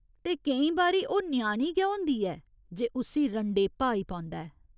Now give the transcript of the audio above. ते केईं बारी ओह् ञ्याणी गै होंदी ऐ जे उस्सी रंडेपा आई पौंदा ऐ।